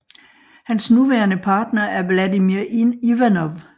Hans nuværende partner er Vladimir Ivanov